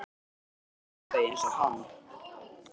Nú lyktaði ég eins og hann.